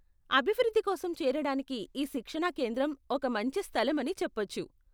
అభివృద్ధి కోసం చేరడానికి ఈ శిక్షణా కేంద్రం ఒక మంచి స్థలం అని చెప్పొచ్చు .